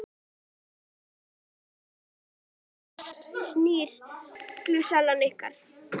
Sunna: En hvað svona sýnir reynslan ykkur?